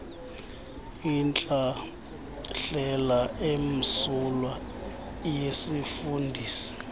intlahlela emsulwa yesifundisi